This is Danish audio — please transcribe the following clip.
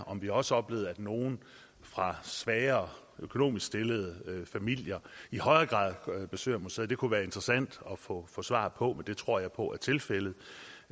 om vi også oplever at nogle fra svagere økonomisk stillede familier i højere grad besøger museerne det kunne være interessant at få svar på det tror jeg på er tilfældet